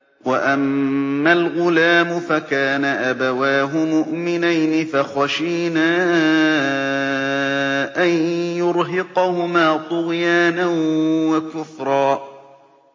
وَأَمَّا الْغُلَامُ فَكَانَ أَبَوَاهُ مُؤْمِنَيْنِ فَخَشِينَا أَن يُرْهِقَهُمَا طُغْيَانًا وَكُفْرًا